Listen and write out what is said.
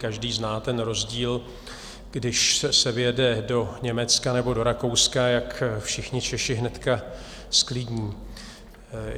Každý zná ten rozdíl, když se vjede do Německa nebo do Rakouska, jak všichni Češi hnedka zklidní.